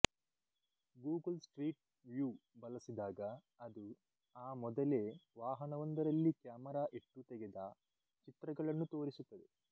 Google street view ಬಳಸಿದಾಗ ಅದು ಆ ಮೊದಲೇ ವಾಹನವೊಂದರಲ್ಲಿ ಕ್ಯಾಮರಾ ಇಟ್ಟು ತೆಗೆದ ಚಿತ್ರಗಳನ್ನು ತೋರಿಸುತ್ತದೆ